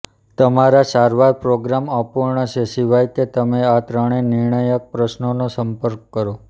તમારા સારવાર પ્રોગ્રામ અપૂર્ણ છે સિવાય કે તમે આ ત્રણેય નિર્ણાયક પ્રશ્નોનો સંપર્ક કરો